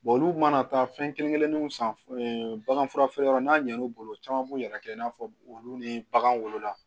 olu mana taa fɛn kelen kelenninw san baganfura yɔrɔ n'a ɲɛn'u bolo caman b'u yɛrɛ kɛ i n'a fɔ olu ni bagan wolola